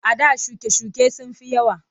A da shuke-shuke sun fi yawa.